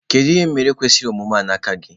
kedu ihe m mere kwesiri omume a n'aka gi?